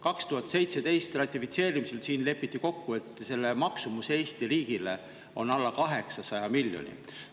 2017. aastal ratifitseerimisel lepiti kokku, et selle maksumus Eesti riigile on alla 800 miljoni euro.